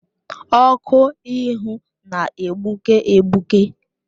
Ọkụ ịhụ na-egbuke egbuke